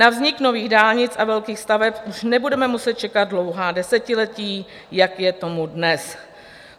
Na vznik nových dálnic a velkých staveb už nebudeme muset čekat dlouhá desetiletí, jak je tomu dnes.